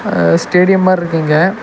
அஹ் stadium மார்ரி இருக்கு இங்க.